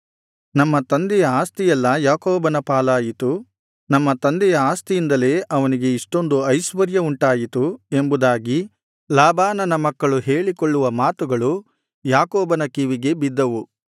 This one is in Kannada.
ನಮ್ಮ ತಂದೆಯ ಆಸ್ತಿಯೆಲ್ಲಾ ಯಾಕೋಬನ ಪಾಲಾಯಿತು ನಮ್ಮ ತಂದೆಯ ಆಸ್ತಿಯಿಂದಲೇ ಅವನಿಗೆ ಇಷ್ಟೊಂದು ಐಶ್ವರ್ಯವುಂಟಾಯಿತು ಎಂಬುದಾಗಿ ಲಾಬಾನನ ಮಕ್ಕಳು ಹೇಳಿಕೊಳ್ಳುವ ಮಾತುಗಳು ಯಾಕೋಬನ ಕಿವಿಗೆ ಬಿದ್ದವು